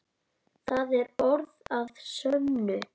Það er orð að sönnu.